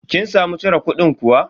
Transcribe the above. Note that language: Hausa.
Kin samu cire kudin kuwa?